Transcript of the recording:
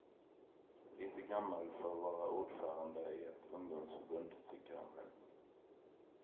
Lite gammal för att vara ordförande i ett ungdomsförbund, tycker han själv.